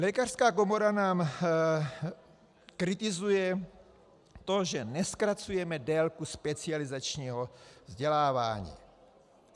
Lékařská komora nám kritizuje to, že nezkracujeme délku specializačního vzdělávání.